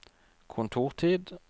kontortid